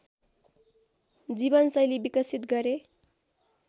जीवनशैली विकसित गरे